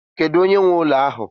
Kedu onye nwe ụlọ ahụ?